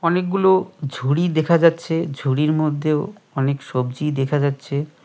অনেকগুলো ঝুড়ি দেখা যাচ্ছে ঝুড়ির মধ্যেও অনেক সবজি দেখা যাচ্ছে।